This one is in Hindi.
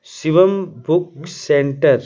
Shivam book centre.